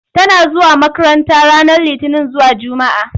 Tana zuwa makranta ranar Litini zuwa Jumaa.